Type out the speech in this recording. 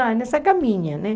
Ah, nessa caminha, né?